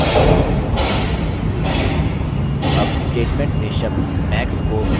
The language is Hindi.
अब statement में शब्द max को min से बदलें